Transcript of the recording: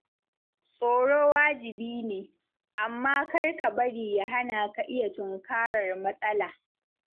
Tsoro wajibi ne, amma kar ka bari ya hana ka iya tunkarar matsala